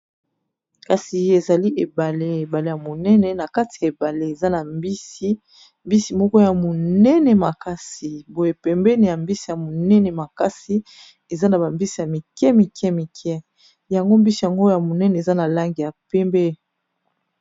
Kasi ezali ebale, ebale ya monene na kati ya ebale eza na mbisi mbisi moko ya monene makasi boye pembeni ya mbisi ya monene makasi eza na ba mbisi ya mike mike mike yango mbisi yango ya monene eza na langi ya pembe.